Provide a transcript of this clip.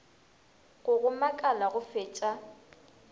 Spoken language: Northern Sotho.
go go makala go fetša